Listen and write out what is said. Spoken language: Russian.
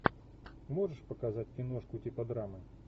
можешь показать киношку типа драмы